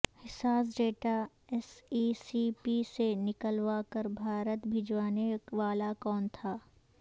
حساس data S E C P سے نکلوا کر بھارت بھجوانے والا کون تھا